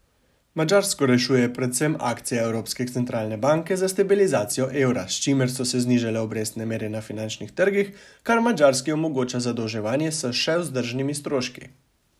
Madžarsko rešuje predvsem akcija evropske centralne banke za stabilizacijo evra, s čimer so se znižale obrestne mere na finančnih trgih, kar Madžarski omogoča zadolževanje s še vzdržnimi stroški.